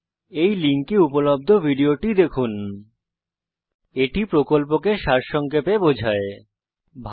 এই লিঙ্কে উপলব্ধ ভিডিও টি দেখুন httpspoken tutorialorgWhat is a spoken tutorial এটি স্পোকেন টিউটোরিয়াল প্রকল্পকে সারসংক্ষেপে বোঝায়